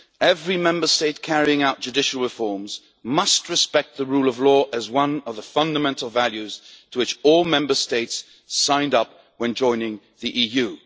Every Member State carrying out judicial reforms must respect the rule of law as one of the fundamental values to which all Member States signed up when joining the